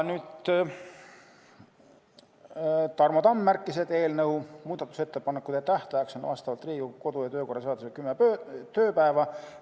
Tarmo Tamm märkis, et eelnõu muudatusettepanekute tähtajaks on vastavalt Riigikogu kodu- ja töökorra seadusele 10 tööpäeva.